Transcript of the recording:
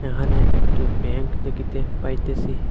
এখানে একটি ব্যাঙ্ক দেখিতে পাইতেসি।